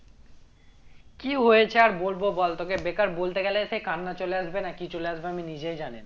কি হয়েছে আর বলবো বল তোকে বেকার বলতে গেলে সেই কান্না চলে আসবে না কি চলে আসবে আমি নিজেও জানিনা